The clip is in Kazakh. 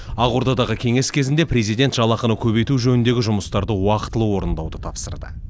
ақордадағы кеңес кезінде президент жалақыны көбейту жөніндегі жұмыстарды уақытылы орындауды тапсырды